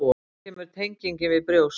Þaðan kemur tengingin við brjóst.